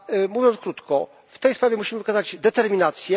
Mówiąc krótko, w tej sprawie musimy wykazać determinację.